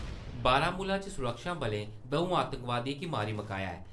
बारामुला च सुरक्षाबलें दं`ऊ आतंकवादियें गी मारी मकाया ऐ।